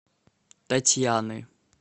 татьяны